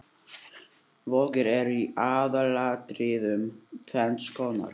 Vogir eru í aðalatriðum tvenns konar.